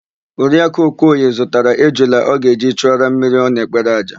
Oriakụ Okoye zụtara ejula ọ ga-eji chụọrọ mmiri ọ na-ekpere àjà.